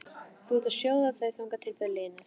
Þú átt að sjóða þau þangað til þau linast.